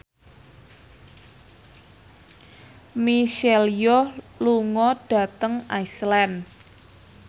Michelle Yeoh lunga dhateng Iceland